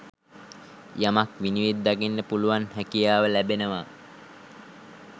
යමක් විනිවිද දකින්න පුළුවන් හැකියාව ලැබෙනවා.